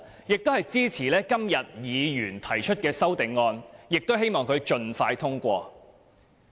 我也支持議員今天提出的修正案，希望修正案獲得通過。